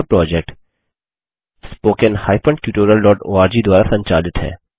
यह project httpspoken tutorialorg द्वारा संचालित है